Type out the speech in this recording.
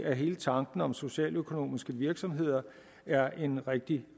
at hele tanken om socialøkonomiske virksomheder er en rigtig